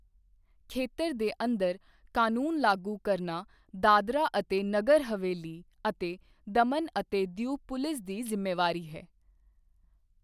ਖੇਤਰ ਦੇ ਅੰਦਰ ਕਾਨੂੰਨ ਲਾਗੂ ਕਰਨਾ ਦਾਦਰਾ ਅਤੇ ਨਗਰ ਹਵੇਲੀ ਅਤੇ ਦਮਨ ਅਤੇ ਦਿਊ ਪੁਲਿਸ ਦੀ ਜ਼ਿੰਮੇਵਾਰੀ ਹੈ।